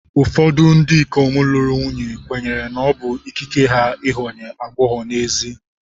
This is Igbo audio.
Ụfọdụ ndị ikom lụrụ nwunye kwenyere na ọ bụ ikike ha ịghọ aghụghọ n'ezi.